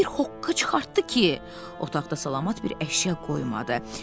Bir hoqqa çıxartdı ki, otaqda salamat bir əşya qoymadı.